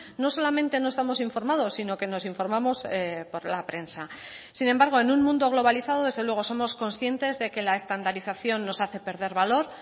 no solamente no estamos informados si no que nos informamos por la prensa sin embargo en un mundo globalizado desde luego somos conscientes de que la estandarización nos hace perder valor